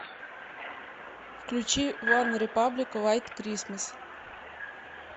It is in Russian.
включи ванрепаблик вайт крисмас